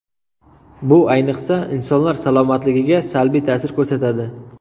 Bu ayniqsa, insonlar salomatligiga salbiy ta’sir ko‘rsatadi.